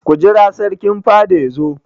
Ku jira Sarkin fada yazo!